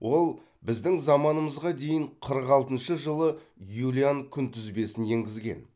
ол біздің заманымызға дейін қырық алтыншы жылы юлиан күнтізбесін енгізген